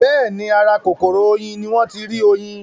Bẹ́ẹ̀ni, ara kòkòrò oyin ní wọ́n ń tí rí oyin